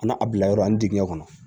A n'a a bilayɔrɔ ani dingɛ kɔnɔ